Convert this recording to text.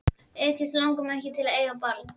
Auk þess langar mig ekkert til að eiga barn.